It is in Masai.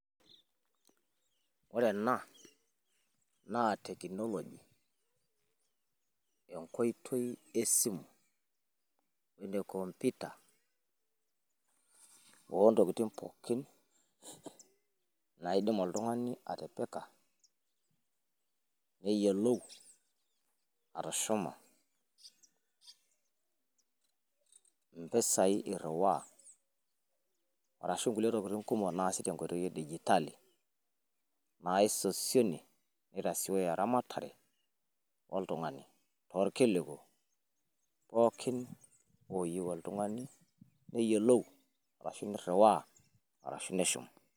Ore ena naa technology enkoitoi e simu, ene computer. Oo ntokitin pookin naidim oltung`ani atipika neyiolou atushuma mpisai irriwaa arashu nkulie tokitin kumok naasi tenkoitoi e digitali. Naisosienie neitasioyo eramatare oltung`ani. Too ilkiliku pookin ooyieu oltung`ani neyiolou arashu, neiriwaa arashu neshum.